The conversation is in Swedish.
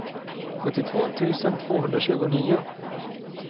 sjuttiotvå tusen tvåhundratjugonio